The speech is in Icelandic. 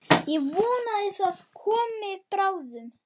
Ég vona það komi bráðum.